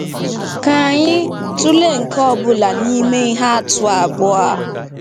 Ka anyị tụlee nke ọ bụla n'ime ihe atụ abụọ a.